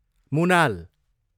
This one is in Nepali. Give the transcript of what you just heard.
मुनाल